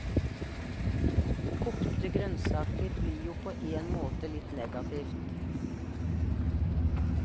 Kokte grønnsaker blir jo på en måte litt negativt.